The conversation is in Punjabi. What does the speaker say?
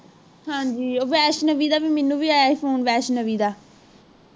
ਹਾਂਜੀ ਵੈਸ਼ਨਵੀ ਦਾ ਵੀ ਮੈਨੂੰ ਵੀ ਆਯਾ ਸੀ phone ਵੈਸ਼ਨਵੀ ਦਾ